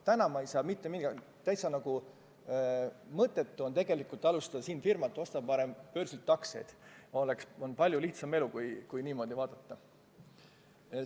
Täna on nagu täitsa mõttetu siin firma käivitada, ostan parem börsilt aktsiaid, on palju lihtsam elu, kui niimoodi vaadata.